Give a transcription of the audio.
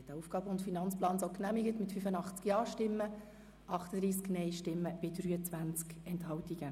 Sie haben den AFP 2019–2021 so genehmigt mit 85 Ja-, 38 Nein-Stimmen bei 23 Enthaltungen.